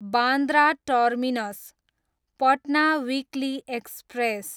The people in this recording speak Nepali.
Bandra terminus, Patna weekly express